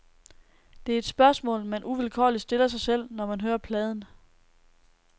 Det er et spørgsmål, man uvilkårligt stiller sig selv, når man hører pladen.